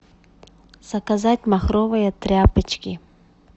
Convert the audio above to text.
заказать махровые тряпочки